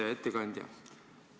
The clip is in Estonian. Hea ettekandja!